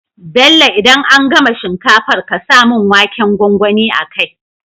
Bello idan an gama shinkafar ƙasa mun waken gwangwani a kai